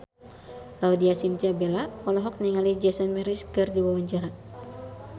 Laudya Chintya Bella olohok ningali Jason Mraz keur diwawancara